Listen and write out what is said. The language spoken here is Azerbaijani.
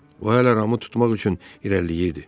O hələ Ramı tutmaq üçün irəliləyirdi.